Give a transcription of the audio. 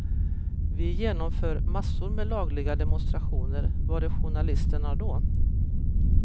Vi genomför massor med lagliga demonstrationer, var är journalisterna då?